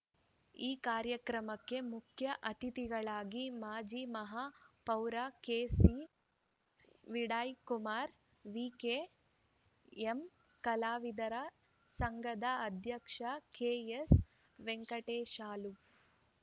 ಈ ಕಾರ್ಯಕ್ರಮಕ್ಕೆ ಮುಖ್ಯ ಅತಿಥಿಗಳಾಗಿ ಮಾಜಿ ಮಹಾಪೌರ ಕೆಸಿ ವಿಡಯಕುಮಾರ್ ವಿಕೆಎಂ ಕಲಾವಿದರ ಸಂಘದ ಅಧ್ಯಕ್ಷ ಕೆಎಸ್ ವೆಂಕಟೇಶಲು